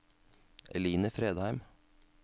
Eline Fredheim